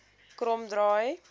kromdraai